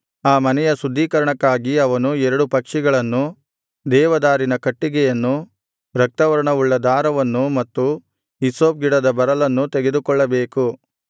ಆ ಮನೆಯ ಶುದ್ಧೀಕರಣಕ್ಕಾಗಿ ಅವನು ಎರಡು ಪಕ್ಷಿಗಳನ್ನು ದೇವದಾರಿನ ಕಟ್ಟಿಗೆಯನ್ನು ರಕ್ತವರ್ಣವುಳ್ಳ ದಾರವನ್ನು ಮತ್ತು ಹಿಸ್ಸೋಪ್ ಗಿಡದ ಬರಲನ್ನು ತೆಗೆದುಕೊಳ್ಳಬೇಕು